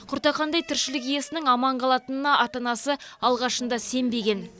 құртақандай тіршілік иесінің аман қалатынына ата анасы алғашында сенбеген